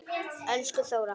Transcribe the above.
Elsku Þóra.